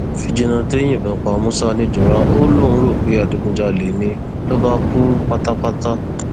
fíjìnnàtẹ yìnbọn pa musa nìjọra ó lóun rò pé adigunjalè ni ló bá kú pátápátá